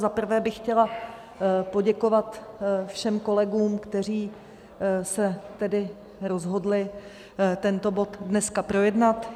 Za prvé bych chtěla poděkovat všem kolegům, kteří se tedy rozhodli tento bod dneska projednat.